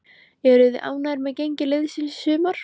Eruð þið ánægðir með gengi liðsins í sumar?